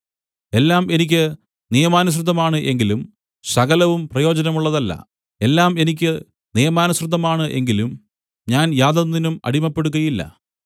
എല്ലാം എനിക്ക് നിയമാനുസൃതമാണ് എങ്കിലും സകലവും പ്രയോജനമുള്ളതല്ല എല്ലാം എനിക്ക് നിയമാനുസൃതമാണ് എങ്കിലും ഞാൻ യാതൊന്നിനും അടിമപ്പെടുകയില്ല